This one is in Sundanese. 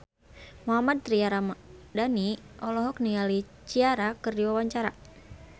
Mohammad Tria Ramadhani olohok ningali Ciara keur diwawancara